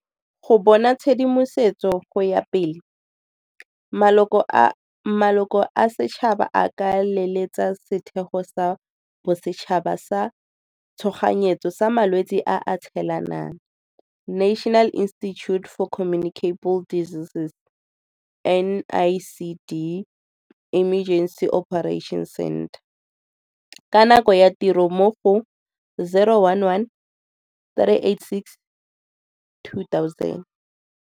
Go bona tshedimosetso go ya pele, maloko a setšhaba a ka leletsa Setheo sa Bosetšhaba sa tshoganyetso sa Malwetse a a Tshelanang National Institute For Communicable Diseases NICD Emergency Operations Centre ka nako ya tiro mo go 011 386 2000.